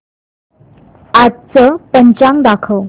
आजचं पंचांग दाखव